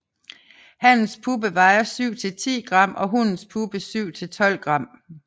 Hannens puppe vejer 7 til 10 g og hunnens puppe 7 til 12 g